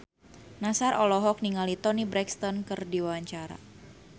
Nassar olohok ningali Toni Brexton keur diwawancara